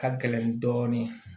Ka gɛlɛn dɔɔnin